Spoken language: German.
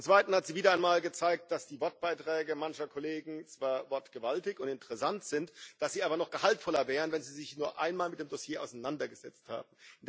Zum zweiten hat sie wieder einmal gezeigt, dass die Wortbeiträge mancher Kollegen zwar wortgewaltig und interessant sind, dass sie aber noch gehaltvoller wären, wenn sie sich nur einmal mit dem Dossier auseinandergesetzt hätten.